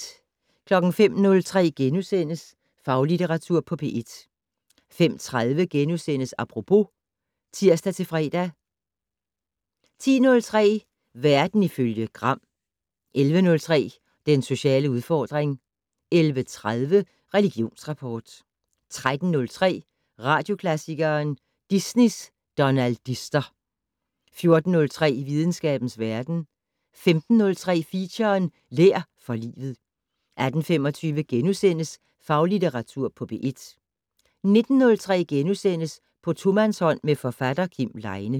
05:03: Faglitteratur på P1 * 05:30: Apropos *(tir-fre) 10:03: Verden ifølge Gram 11:03: Den sociale udfordring 11:30: Religionsrapport 13:03: Radioklassikeren: Disneys donaldister 14:03: Videnskabens verden 15:03: Feature: Lær for livet 18:25: Faglitteratur på P1 * 19:03: På tomandshånd med forfatter Kim Leine *